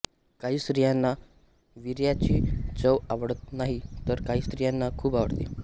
काही स्त्रियांना विर्याची चव आवडत नाही तर काही स्त्रियांना खूप आवडते